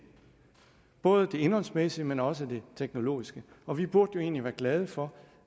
både det indholdsmæssige men også det teknologiske og vi burde jo egentlig være glade for